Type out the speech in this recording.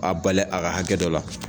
A bali a ka hakɛ dɔ la.